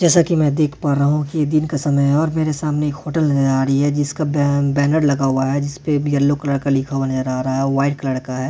जैसा कि मैं देख पा रहा हूँ कि ये दिन का समय है और मेरे सामने एक होटल नज़र आ रही है जिसका बैनर लगा हुआ है जिस पर येलो कलर का लिखा हुआ नजर आ रहा है वाइट कलर का है।